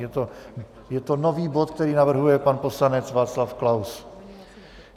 Je to nový bod, který navrhuje pan poslanec Václav Klaus.